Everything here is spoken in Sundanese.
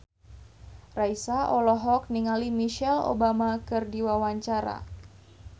Raisa olohok ningali Michelle Obama keur diwawancara